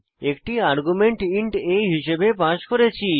একটি argument int a হিসাবে pass করেছি